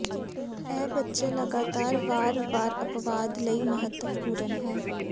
ਇਹ ਬੱਚੇ ਲਗਾਤਾਰ ਵਾਰ ਵਾਰ ਅਪਵਾਦ ਲਈ ਮਹੱਤਵਪੂਰਨ ਹੈ